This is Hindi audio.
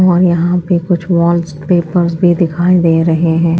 और यहां पे कुछ वॉल्स पेपर्स भी दिखाई दे रहे हैं।